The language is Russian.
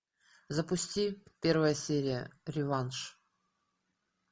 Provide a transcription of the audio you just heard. запусти первая серия реванш